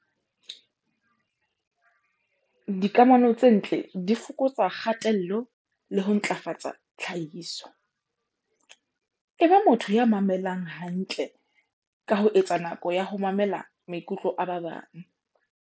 Dikamano tse ntle di fokotsa kgatello le ho ntlafatsa tlhahiso. Eba motho ya mamelang hantle ka ho etsa nako ya ho mamela maikutlo a ba bang.